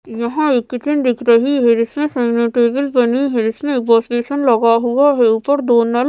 यहाँ एक किचन दिख रही है जिसमें सामने टेबल बनी है जिसमें वाश बेसिन लगा हुआ है ऊपर दो नल --